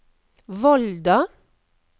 Volda